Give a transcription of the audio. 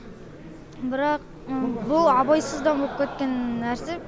бірақ бұл абайсызда боп кеткен нәрсе